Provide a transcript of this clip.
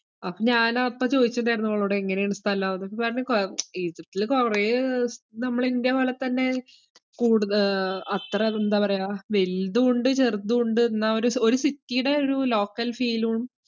അപ്പോ ഞാന് അപ്പ ചോയിച്ചിട്ടിണ്ടായിരുന്നു അവളോട് എങ്ങനെയാണ് സ്ഥലം. അവളപ്പം പറഞ്ഞ് കൊഴ~ ഈജിപ്തില് കൊറേ ഏർ നമ്മള ഇന്ത്യ പോലെത്തന്നെ കൂടുത~ ആഹ് അത്ര അത് എന്താ പറയ്യാ വെൽതുവുണ്ട് ചെറുതുവുണ്ട് എന്നാ ഒര് ഒര് city ടെ ഒരു local feel ഉം